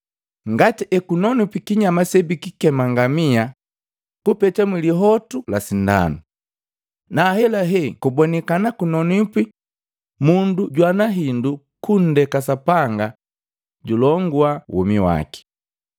Ngati ekunonwipi kinyama sebikikema ngamia kupeta mwilihotu la sindanu, na ahelahe kubonikana kunonwipi, mundu jwana hindu kundeke Sapanga julongua womi waki!” Ngamia|alt="A camel" src="14 Camel.jpg" size="col" ref="10:25"